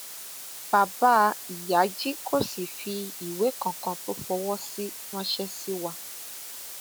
bàbá ìyájí kò sì fi ìwé kankan tó fọwọ sí ránṣẹ sí wa